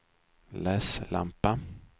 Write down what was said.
läslampa